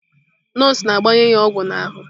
Nọọsụ na-gbanye ya ogwu na ahu.